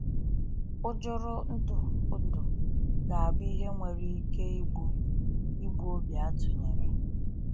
ỤJỤRỤNDỤ NDỤ ga abụ ihe nwere ike igbu igbu obi atụnyere.